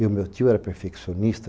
E o meu tio era perfeccionista.